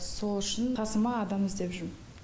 сол үшін қасыма адам іздеп жүрмін